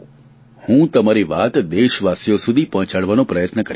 હું તમારી વાત દેશવાસીઓ સુધી પહોંચાડવાનો પ્રયાસ કરીશ